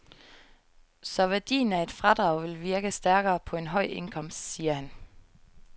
Så værdien af et fradrag vil virke stærkere på en høj indkomst, siger han.